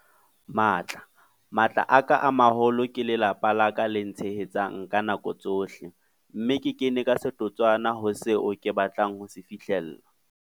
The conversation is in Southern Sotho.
Matla- Matla a ka a maholo ke lelapa la ka le ntshehetsang ka nako tsohle, mme ke kene ka setotswana ho seo ke batlang ho se fihlella.